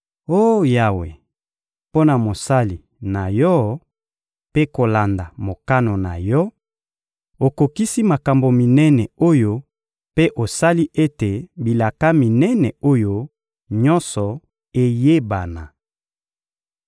Oh Yawe, mpo na mosali na Yo mpe kolanda mokano na Yo, okokisi makambo minene oyo mpe osali ete bilaka minene oyo nyonso eyebana.